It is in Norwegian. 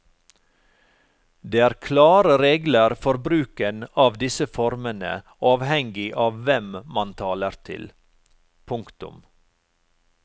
Det er klare regler for bruken av disse formene avhengig av hvem man taler til. punktum